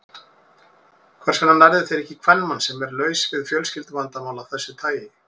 Hvers vegna nærðu þér ekki í kvenmann, sem er laus við fjölskylduvandamál af þessu tagi?